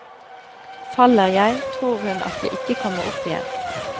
Faller jeg, tror hun at jeg ikke kommer opp igjen.